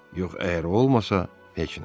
Yox əgər o olmasa, heç nə.